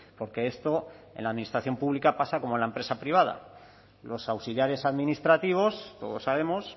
porque esto en la administración pública pasa como en la empresa privada los auxiliares administrativos todos sabemos